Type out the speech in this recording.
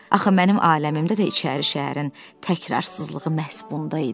Axı mənim aləmimdə də içəri şəhərin təkrarsızlığı məhz bunda idi.